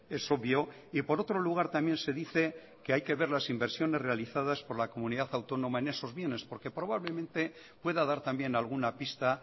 es obvio y por otro lugar también se dice que hay que ver las inversiones realizadas por la comunidad autónoma en esos bienes porque probablemente pueda dar también alguna pista